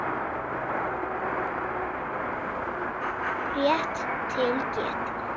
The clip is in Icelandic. Rétt til getið.